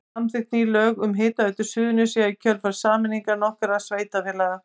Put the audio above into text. Samþykkt ný lög um Hitaveitu Suðurnesja í kjölfar sameiningar nokkurra sveitarfélaga.